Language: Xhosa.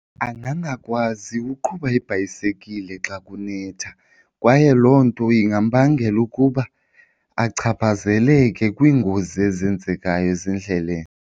Angangakwazi uqhuba ibhayisekile xa kunetha kwaye loo nto ingambangela ukuba achaphazeleke kwingozi ezenzekayo ezindleleni.